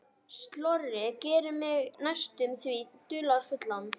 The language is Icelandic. Slörið gerði mig næstum því dularfulla.